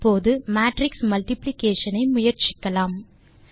இப்போது matrix multiplication ஐ முயற்சிக்கலாம்